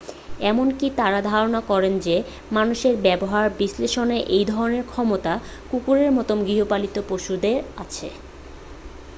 এমনকি তার ধারণা যে মানুষের ব্যবহার বিশ্লেষণের এই ধরনের ক্ষমতা কুকুরের মতো গৃহপালিত পশুদের আছে